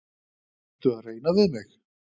Ertu að reyna við mig?